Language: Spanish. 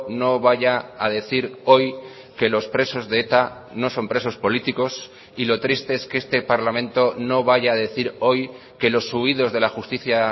no vaya a decir hoy que los presos de eta no son presos políticos y lo triste es que este parlamento no vaya a decir hoy que los huidos de la justicia